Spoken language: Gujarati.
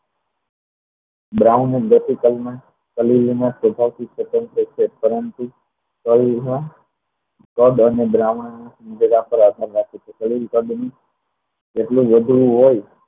brown મુદ્દે થી કલમા કદ અને દ્રાવણ એકબીજા પર આધાર રાખે છે જેટલું વધુ હોય